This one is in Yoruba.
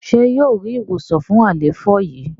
ṣe yíò rí ìwòsàn fún àléfọ yí?